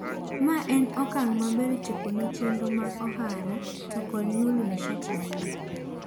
"Mae en okang' maber chopone chendro mag ohara to kod nyuolo nishati maler.